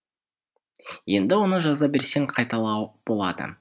енді оны жаза берсең қайталау болады